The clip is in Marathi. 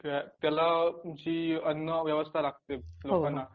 त्याला जी अन्न व्यवस्था लागतें लोकांना